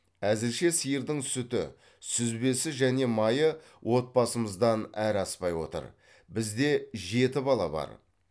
әзірше сиырдың сүті сүзбесі және майы отбасымыздан әрі аспай отыр бізде жеті бала бар